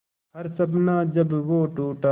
हर सपना जब वो टूटा